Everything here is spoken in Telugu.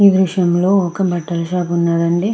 ఈ దృశ్యంలో ఒక బట్టల షాప్ ఉన్నదండి.